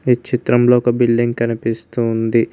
ఈ చిత్రంలో ఒక బిల్డింగ్ కనిపిస్తూ ఉంది.